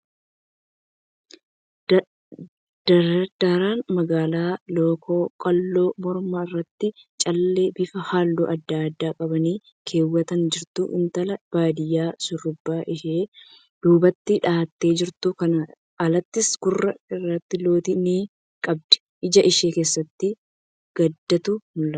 Dardara magaala lookoo qalloo morma irraatti callee bifa halluu adda addaa qaban keewwattee jirtu. Intala baadiyyaa shurrubbaa ishee duubatti dha'attee jirtuudha. Kanaan alattis, gurra irraa lootii ni qabdi. Ija ishee keessatti gaddatu mul'ata.